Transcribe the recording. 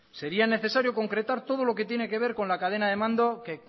sería necesario concretar todo lo que tiene que ver con la cadena de mando que